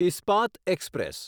Ispat express